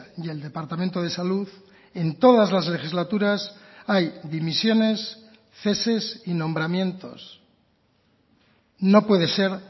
y el departamento de salud en todas las legislaturas hay dimisiones ceses y nombramientos no puede ser